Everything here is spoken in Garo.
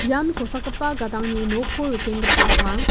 ian kosakgipa gadangni nokko rikenggipa ong·a.